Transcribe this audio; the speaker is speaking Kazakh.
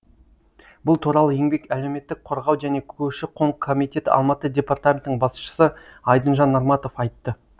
бұл туралы еңбек әлеуметтік қорғау және көші қон комитеті алматы департаментінің басшысы айдынжан нарматов айтты